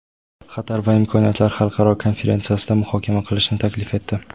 Xatar va imkoniyatlar xalqaro konferensiyasida muhokama qilishni taklif etdi.